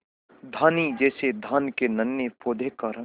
धानी जैसे धान के नन्हे पौधों का रंग